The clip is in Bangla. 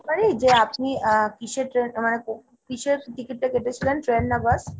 পারি যে আপনি আহ কিসের মানে কোন, কিসের ticket তা কেটেছিলেন train না bus ?